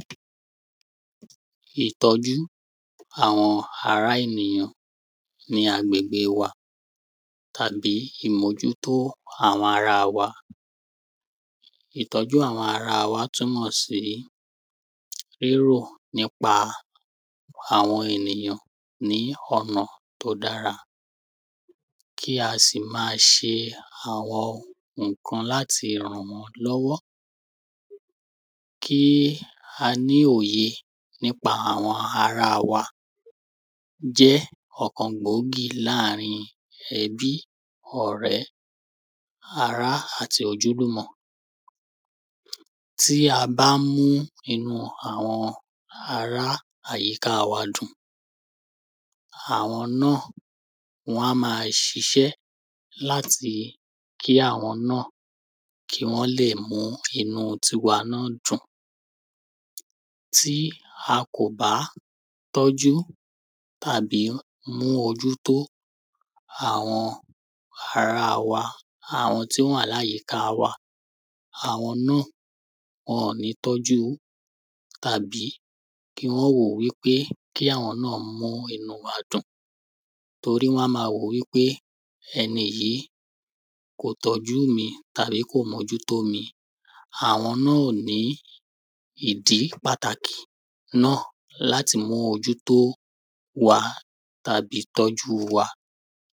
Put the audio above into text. ìtọ́jú àwọn ará ènìyàn ní agbègbè wa tàbí ìmójútó àwọn ará wa ìtọ́jú àwọn ará wa túnmọ̀ sí tírò nípa àwọn ènìyàn ní ọ̀nà tó dára kí a sì ma ṣe àwọn ǹkan láti ma ràn wọ́n lọ́wọ́ kí a ní òye nípa àwọn ará wa jẹ́ ọ̀kan gbòógì láàrin ẹbí ọ̀rẹ́ ará àti ojúlùmọ̀ tí a bá mú inú àwọn ará àyíká wa dùn àwọn náà á ma ṣiṣẹ́ láti kí àwọn náà kí wọ́n le mú inú tiwa náà dùn tí a kò bá tọ́jú àbí mú ojútó àwọn ará wa àwọn tí wọ́n wà ní àyíká wa àwọn náà wọ́n ò ní tọ́jú tàbí kí wọ́n wòó wípé kí àwọn náà mú inú wa dùn torí wọ́n a ma wò wípé ẹni yìí kò tọ́jú mi tàbí mójútó mi àwọn náà ò ní ìdí pàtàkì náà láti mú ojútó wa tàbí tọ́jú wa